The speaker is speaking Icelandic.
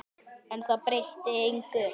En það breytti engu.